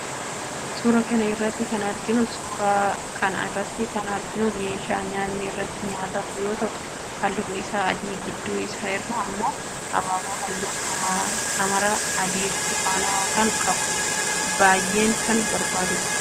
Suuraa kana irratti kan arginu suuraa kana irratti kan arginu meeshaa nyaatni irratti nyaatamu yoo ta'u halluun isaa adii gidduu isaa irraa immoo abaaboo halluu hamara, adii, burtukaanawaa kan qabudha. Baayyeen kan bareedudha.